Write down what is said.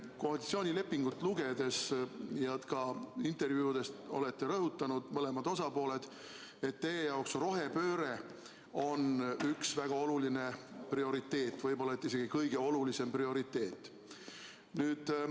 Koalitsioonilepingus ja ka intervjuudes olete rõhutanud, mõlemad osapooled, et teie jaoks on rohepööre üks väga oluline prioriteet, võib-olla isegi kõige olulisem prioriteet.